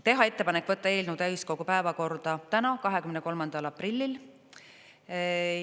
Teha ettepanek võtta eelnõu täiskogu päevakorda täna, 23. aprillil.